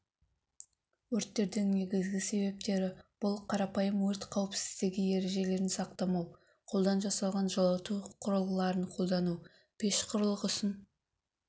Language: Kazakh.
өрттердің негізгі себептері бұл қарапайым өрт қауіпсіздігі ережелерін сақтамау қолдан жасалған жылыту құрылғыларын қолдану пеш құрылғысын